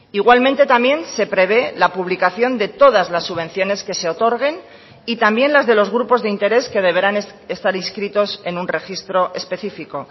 igualmente también se prevé la publicación de todas las subvenciones que se otorguen y también las de los grupos de interés que deberán estar inscritos en un registro específico